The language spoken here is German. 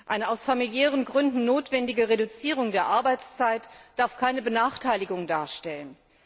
Eine aus familiären Gründen notwendige Reduzierung der Arbeitszeit darf keine Benachteiligung darstellen.